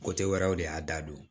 wɛrɛw de y'a da don